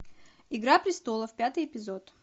игра престолов пятый эпизод